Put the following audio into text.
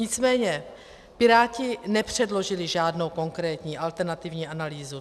Nicméně Piráti nepředložili žádnou konkrétní alternativní analýzu.